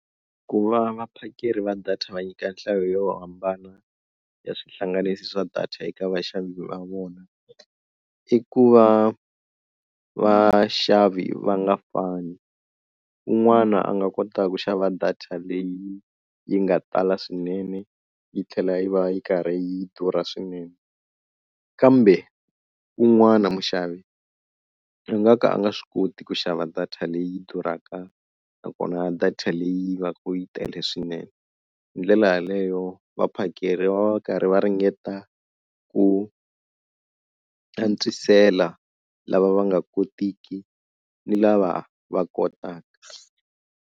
Ku va vaphakeri va data va nyika nhlayo yo hambana ya swihlanganisi swa data eka vaxavi va vona i ku va vaxavi va nga fani un'wana a nga kota ku xava data leyi yi nga tala swinene yi tlhela yi va yi karhi yi durha swinene. Kambe wun'wana muxavi a nga ka a nga swi koti ku xava data leyi durhaka nakona data leyi va ka yi tele swinene. Hi ndlela yaleyo vaphakeri va va va karhi va ringeta ku antswisela lava va nga kotiki ni lava va kotaka.